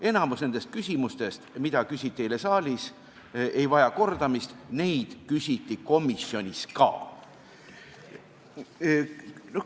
Enamik nendest küsimustest, mida küsiti eile saalis, ei vaja kordamist, neid küsiti komisjonis ka.